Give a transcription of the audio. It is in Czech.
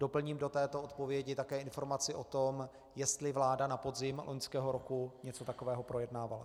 Doplním do této odpovědi také informaci o tom, jestli vláda na podzim loňského roku něco takového projednávala.